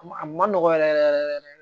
A ma a kun ma nɔgɔ yɛrɛ yɛrɛ yɛrɛ